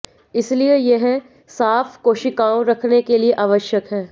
इसलिए यह साफ कोशिकाओं रखने के लिए आवश्यक है